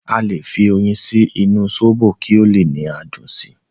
Aale fi oyin sí inú sóbò kí o le ni adùn si